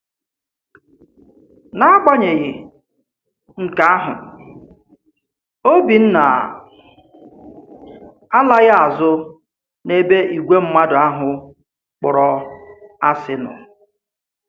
N’agbanyeghị nke ahụ, Òbìnna alaghị azụ n’ebe ìgwè mmadụ ahụ kpọ̀rọ asị nọ.